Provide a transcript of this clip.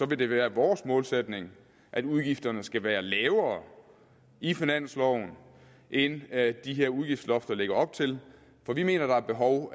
det være vores målsætning at udgifterne skal være lavere i finansloven end de her udgiftslofter lægger op til for vi mener at der er behov